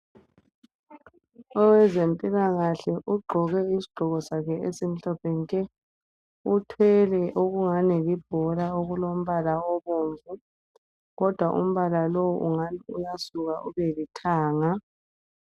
Owezempilakahle ugqoke isigqoko sakhe esimhlophe nke. Uthwele okungani libhola okulombala obomvu kodwa umbala lowo ungani uyasuka ubelithanga.